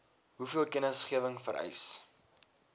hoeveel kennisgewing vereis